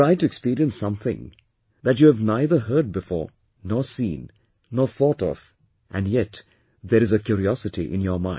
Try to experience something that you have neither heard before , nor seen, nor thought of and yet there is a curiosity in your mind